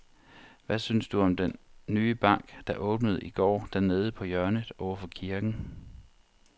Hvad synes du om den nye bank, der åbnede i går dernede på hjørnet over for kirken?